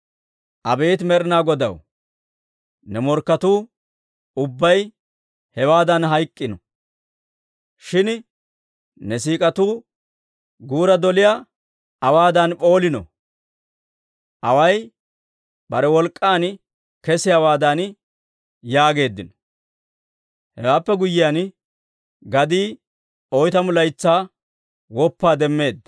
«Abeet Med'inaa Godaw, ne morkketuu ubbay hewaadan hayk'k'iino! Shin ne siik'atuu guura doliyaa awaadan p'oolino; away bare wolk'k'aan kesiyaawaadan» yaageeddino. Hewaappe guyyiyaan, gadii oytamu laytsaa woppaa demmeedda.